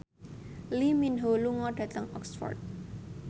Lee Min Ho lunga dhateng Oxford